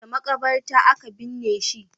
Wace maƙabarta aka binne shi?